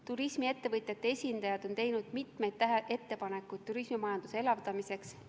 Turismiettevõtjate esindajad on teinud mitmeid ettepanekuid turismimajanduse elavdamiseks.